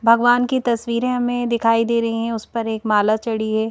भगवान की तस्वीरें हमें दिखाई दे रही हैं उस पर एक माला चढ़ी है।